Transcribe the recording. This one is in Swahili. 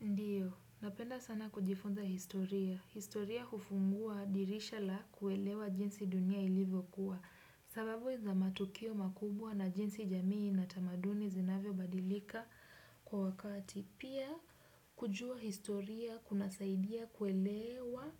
Ndiyo. Napenda sana kujifunza historia. Historia hufungua dirisha la kuelewa jinsi dunia ilivyo kuwa. Sababu za matukio makubwa na jinsi jamii na tamaduni zinavyobadilika kwa wakati. Pia kujua historia kunasaidia kuelewa